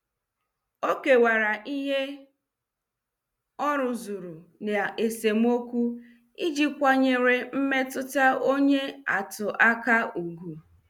Ọ kewara ihe ọ rụzuru na esemokwu iji kwanyere mmetụta onye atụ aka ugwu.